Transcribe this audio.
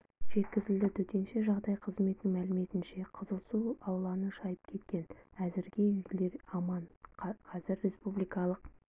жеткізілді төтенше жағдай қызметінің мәліметінше қызыл су ауланы шайып кеткен әзірге үйлер аман қазір республикалық